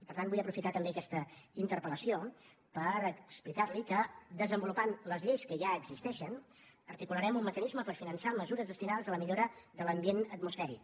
per tant vull aprofitar també aquesta interpel·lació per explicar li que desenvolupant les lleis que ja existeixen articularem un mecanisme per finançar mesures destinades a la millora de l’ambient atmosfèric